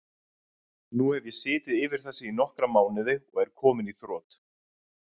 Nú hef ég setið yfir þessu í nokkra mánuði og er kominn í þrot.